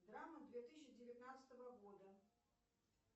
драма две тысячи девятнадцатого года